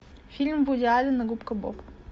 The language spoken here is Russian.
фильм вуди аллена губка боб